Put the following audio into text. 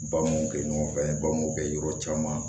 Ba m'o kɛ ɲɔgɔn fɛ ba m'o kɛ yɔrɔ caman